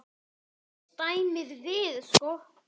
Þá snerist dæmið við.